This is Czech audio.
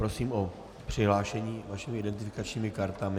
Prosím o přihlášení vašimi identifikačními kartami.